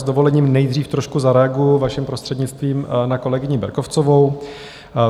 S dovolením nejdřív trošku zareaguji, vaším prostřednictvím, na kolegyni Berkovcovou.